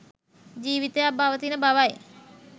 ජීවිතයක් පවතින බවයි